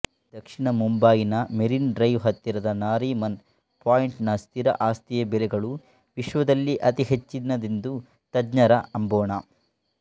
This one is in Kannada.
ದಕ್ಷಿಣ ಮುಂಬಯಿನ ಮೆರಿನ್ ಡ್ರೈವ್ ಹತ್ತಿರದ ನಾರಿಮನ್ ಪಾಯಿಂಟ್ ನ ಸ್ಥಿರಆಸ್ತಿಯಬೆಲೆಗಳು ವಿಶ್ವದಲ್ಲೇ ಅತಿಹೆಚ್ಚಿನದೆಂದು ತಜ್ಞರ ಅಂಬೋಣ